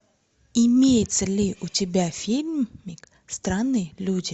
имеется ли у тебя фильмик странные люди